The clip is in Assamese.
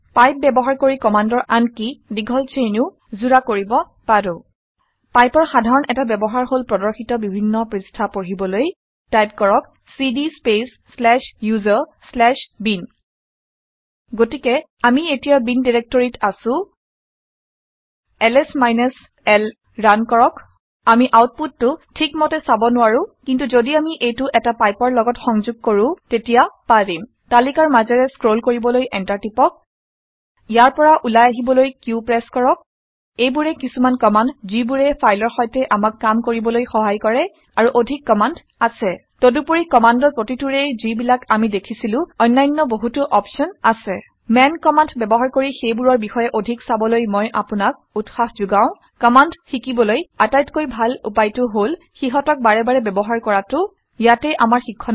পাইপ ব্যৱহাৰ কৰি কামাণ্ডৰ আনকি দীঘল ছেইনো যোৰা কৰিব পাৰো। পাইপৰ সাধাৰন এটা ব্যৱহাৰ হল প্ৰৰ্দশিত বিভিন্ন পৄস্ঠা পঢ়িবলৈ টাইপ কৰক cd space slash user slash bin গতিকে আমি এতিয়া বিন ডাইৰেক্টৰীত আছো। এতিয়া এলএছ মাইনাছ l ৰান কৰক। আমি আউটপুতটো ঠিক মতে চাৰ নোৱাৰো। কিন্তু ঘদি আমি এইটো এটা পাইপৰ লগত সংঘোগ কৰো তাক তেতিয়া পাৰিম। তালিকাৰ মাজেৰে স্ক্ৰল কৰিবলৈ এন্টাৰ প্ৰেছ কৰক। ইয়াৰ পৰা উলাই আহিবলৈ কিউ q প্ৰেছ কৰক। এইবোৰেই কিছুমান কামাণ্ড ঘিবোৰে ফাইলৰ সৈতে আমাক কাম কৰিবলৈ সহায় কৰে। আৰু অধিক কামাণ্ড আছে। তদুপৰি কামাণ্ডৰ প্ৰতিটোৰেই ঘি বিলাক আমি দেখিছিলো অনান্য বহুতো অপছন আছে। মান কমাণ্ড ব্যৱহাৰ কৰি সেইবোৰৰ বিষয়ে অধিক চাবলৈ মই আপোনাক উৎসাহ ঘোগওঁ। কামাণ্ড শিকিবলৈ আটাইতকৈ ডাল উপায় টো হল সিহতক বাৰে বাৰে ব্যৱহাৰ কৰাটো। ইয়াতে আমাৰ শিক্ষণৰ সামৰণি পৰিছে